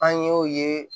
An ye o ye